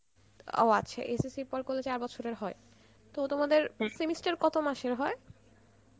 ও আচ্ছা SSC র পরে করলে চার বছরের হয়? তো তোমদের semester কত মাসের হয়?